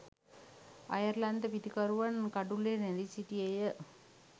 අයර්ලන්ත පිතිකරුවන් කඩුල්ලේ රැඳී සිටියේ